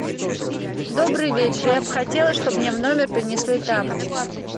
добрый вечер я бы хотела чтобы мне в номер принесли тапочки